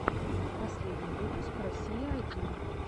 последний выпуск россия один